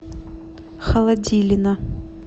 холодилина